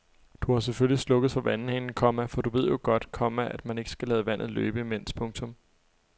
Du har selvfølgelig slukket for vandhanen, komma for du ved jo godt, komma at man ikke skal lade vandet løbe imens. punktum